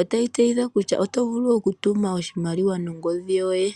ota yi tseyitha kutya oto vulu okutuma oshimaliwa nongodhi yoye.